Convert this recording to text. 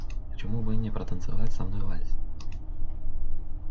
почему-бы не протанцевать со мной вальс